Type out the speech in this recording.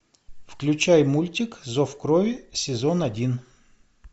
включай мультик зов крови сезон один